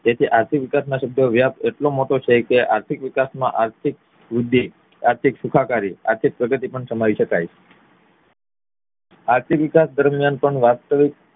જેથી આર્થિક વિકાસ નો શબ્દ વ્યાપ એટલો મોટો છે કે આર્થિક વિકાસ માં આર્થિક વૃદ્ધિ આર્થિક સુખાકારી આર્થિક પ્રગતિ પણ સામે શકાય આર્થિક વિકાસ દરમિયાન પણ વાસ્તવિક